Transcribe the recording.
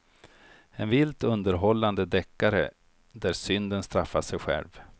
En vilt underhållande deckare där synden straffar sig själv.